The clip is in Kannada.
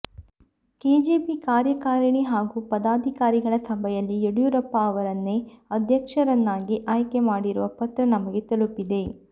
ಕೆಜೆಪಿ ಕಾರ್ಯಕಾರಿಣಿ ಹಾಗೂ ಪದಾಧಿಕಾರಿಗಳ ಸಭೆಯಲ್ಲಿ ಯಡಿಯೂರಪ್ಪ ಅವರನ್ನೇ ಅಧ್ಯಕ್ಷರನ್ನಾಗಿ ಆಯ್ಕೆ ಮಾಡಿರುವ ಪತ್ರ ನಮಗೆ ತಲುಪಿದೆ